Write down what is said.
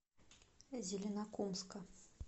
зеленокумска